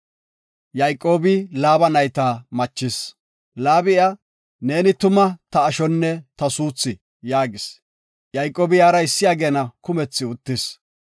Laabi iya, “Neeni tuma ta ashonne ta suuthi” yaagis. Yayqoobi iyara issi ageena kumethi uttis.